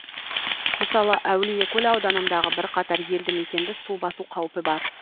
мысалы әулиекөл ауданындағы бірқатар елді мекенді су басу қаупі бар